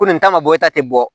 Ko nin ta ma bɔ e ta tɛ bɔ